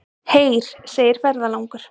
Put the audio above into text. Heyr, segir ferðalangur.